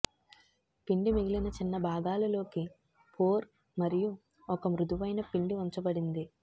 పిండి మిగిలిన చిన్న భాగాలు లోకి పోర్ మరియు ఒక మృదువైన పిండి ఉంచబడింది